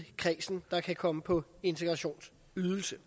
kredsen der kan komme på integrationsydelse